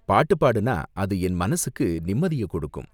பாட்டு பாடுனா அது என் மனசுக்கு நிம்மதிய கொடுக்கும்.